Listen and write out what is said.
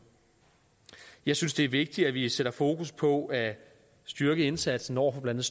jeg synes også det er vigtigt at vi sætter fokus på at styrke indsatsen over for blandt